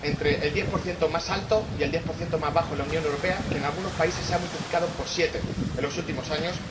Entre el diez por ciento más alto y el diez por ciento más bajo en la Unión Europea, que en algunos países se ha multiplicado por siete en los últimos años.